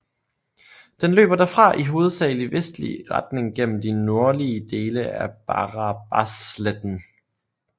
Den løber derfra i hovedsagelig vestlig retning gennem de nordlige dele af Barabasletten